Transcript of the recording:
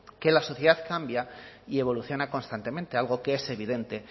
que la sociedad cambia y evoluciona constantemente algo que es evidente